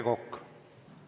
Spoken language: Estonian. Aitäh!